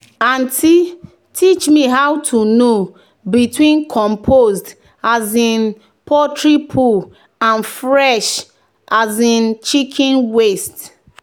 "aunty teach me how to know between compost um poultry poo and fresh um chicken waste."